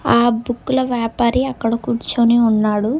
ఆ బుక్కుల వ్యాపారి అక్కడ కూర్చొని ఉన్నాడు.